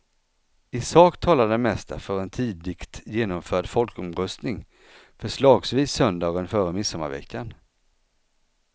I sak talar det mesta för en tidigt genomförd folkomröstning, förslagsvis söndagen före midsommarveckan.